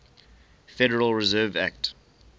federal reserve act